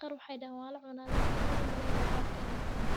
qar maxay dahan walacunah lakin ani maumalwynayo bahalka in lacuno.